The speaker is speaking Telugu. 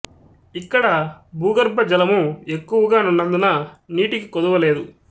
ఇక్కడ భూగర్భ జలము ఎక్కువగా నున్నందున నీటికి కొదువ లేదు